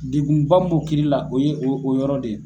Degunba min b'o kiri la o ye o yɔrɔ de ye.